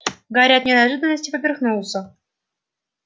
гарри от неожиданности поперхнулся